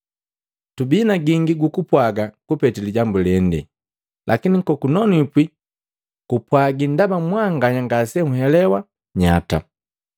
Tubii na gingi gukupwaga kupete lijambu lende, lakini kunonwipi kumpwagi ndaba mwanganya ngase nhelewa nnyata.